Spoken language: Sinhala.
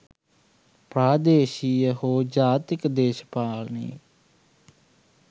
ප්‍රාදේශීය හෝ ජාතික දේශපාලනයේ